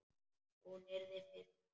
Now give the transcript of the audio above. Hún yrði fyrst.